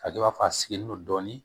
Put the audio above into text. A kɛ i b'a fɔ a sigilen no dɔɔnin